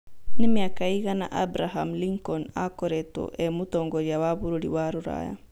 nĩ miaka ĩgana Abraham Lincoln akoretwo e mũtongoria wa bũrũri wa rũraya